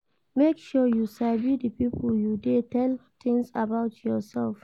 Make sure say you sabi di pipo you de tell things about yourself